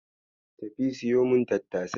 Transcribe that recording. Tafi ka siyo mun tattasai.